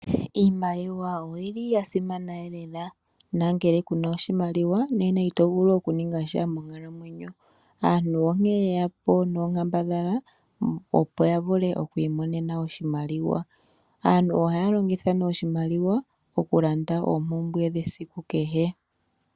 Iimaliwa oyili ya simana lela, nongele kuna oshimaliwa, itovulu okuningasha monkalamwenyo. Aantu onkene yeyapo nonkambadhala opo yavule kwiimonena oshimaliwa. Aantu ohaya longitha ne oshimaliwa, okulanda oompumbwe kehe.